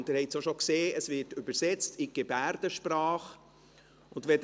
Wie Sie bereits gesehen haben, wird die Debatte in Gebärdensprache übersetzt.